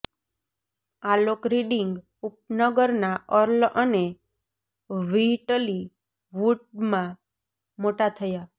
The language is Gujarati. આલોક રીડિંગ ઉપનગરના અર્લ અને વ્હિટલી વુડમાં મોટા થયા